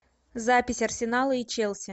запись арсенала и челси